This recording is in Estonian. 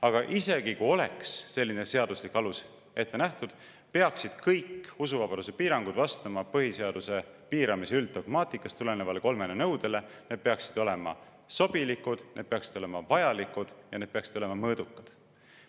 Aga isegi kui oleks selline seaduslik alus ette nähtud, peaksid kõik usuvabaduse piirangud vastama põhiseaduse piiramise ülddogmaatikast tulenevale kolmele nõudele: need peaksid olema sobilikud, need peaksid olema vajalikud ja need peaksid olema mõõdukad.